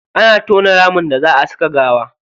Ana tona ramin da za a saka gawa.